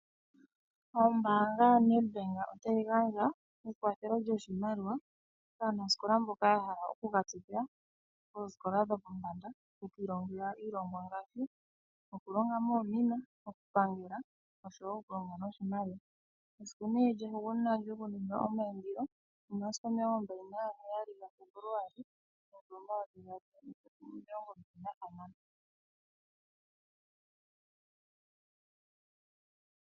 Ombaanga ya Net Bank otayi gandja ekwathelo lyoshimaliwa kaanasikola mboka ya hala oku katsikila oosikola lyolombanda okwiilongela miilongwa ngaashi, oku longa moomina, oku pangela oshowo oku longa noshimaliwa. Esiku nee lyahugunina lyoku ninga omayindilo omasiku 27bFebuluali 2026